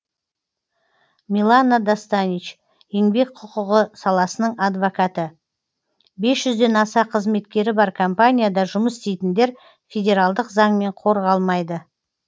милана достанич еңбек құқығы саласының адвокаты бес жүзден аса қызметкері бар компанияда жұмыс істейтіндер федералдық заңмен қорғалмайды